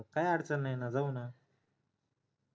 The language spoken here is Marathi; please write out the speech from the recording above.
काही अडचण नाही ना जाऊ ना